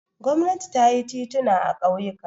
Gwamnati ta yi tituna a ƙauyuka.